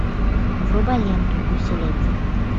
врубай ленту гуси лебеди